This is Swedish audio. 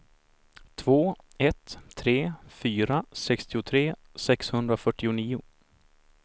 två ett tre fyra sextiotre sexhundrafyrtionio